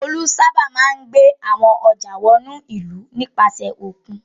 Olú sábà máa ń gbé àwọn ọjà wọ inú ìlú nípasẹ̀ òkun.